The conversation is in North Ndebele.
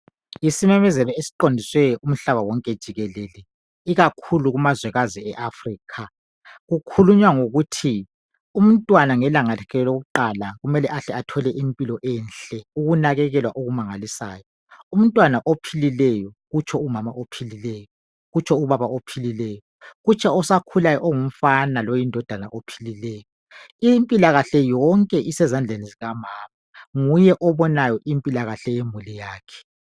Isimemezelo esiqondiswe kumhlaba wonke jikelele ikakhulu kumazwekazi eAfrica. Kukhulunywa ngokuthi umntwana ngelanga lakhe lokuqala kumele ahle athole impilo enhle ukunakekelwa okumangalisayo . Umntwana ophilileyo, utsho umama ophilileyo utsho ubaba ophilileyo utsho osakulayo ongumfana loyindodana ophilileyo. Impilakahle yonke isezandleni zikamama nguye obonayo impilakahle yemuli yakhe